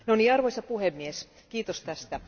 Arvoisa puhemies, kiitos tästä.